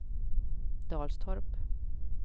Dalstorp